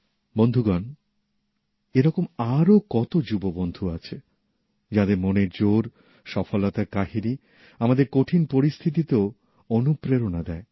বন্ধুগণ এইরকম আরও কতো যুব বন্ধু আছে যাঁদের মনের জোর সফলতার কাহিনী আমাদের কঠিন পরিস্থিতিতেও অনুপ্রেরণা দেয়